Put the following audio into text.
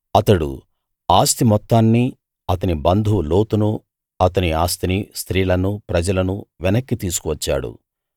అతడు ఆస్తి మొత్తాన్ని అతని బంధువు లోతును అతని ఆస్తిని స్త్రీలను ప్రజలను వెనక్కి తీసుకు వచ్చాడు